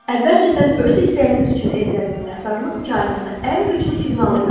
Əvvəlcədən öz istəyiniz üçün edilən minnətdarlıq kainata ən güclü siqnalı göndərər.